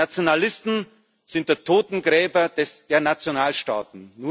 Die Nationalisten sind die Totengräber der Nationalstaaten.